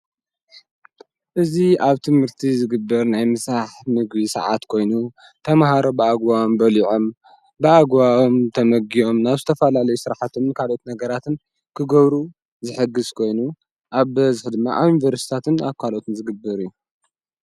እዙ ኣብ ትምህርቲ ዝግብር ናይ ምሳሓሕ ምግ ሰዓት ኮይኑ ተምሃሮ ብኣግዋዊም በሊዖም ብኣጓዎም ተመጊኦም ናብስተፋላለይ ሥራሕቶም ንካልኦት ነገራትን ክገብሩ ዝሕግሥ ኮይኑ ኣብ በዝኅድሚዓን ብርስታትን ኣኳሎትን ዝግብር እዩ።